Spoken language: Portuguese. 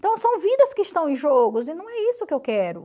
Então, são vidas que estão em jogos, e não é isso que eu quero.